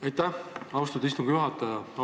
Aitäh, austatud istungi juhataja!